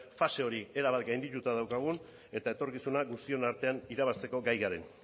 fase hori erabat gaindituta daukagun eta etorkizuna guztion artean irabazteko gai garen